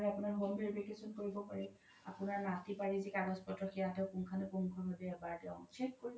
এনেদৰে আপোনাৰ home verification কৰিব পাৰি আপোনাৰ মাতি বাৰিৰ যি কাগজ পত্ৰ সেইয়া তেও পুনংখানু পুন্খো ভাবে এবাৰ তেও check কৰিব